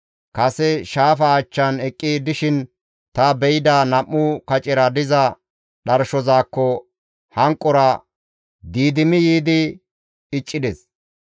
Kase shaafa achchan eqqi dishin ta be7ida nam7u kacera diza dharshozakko hanqora diidimi yiidi iccides.